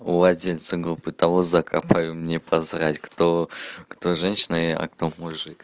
у владельца группы того зэка поверь мне посрать кто кто женщина и а кто мужик